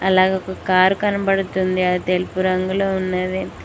అలాగే ఒక కారు కనబడుతుంది అది తెలుపు రంగులో ఉన్నది.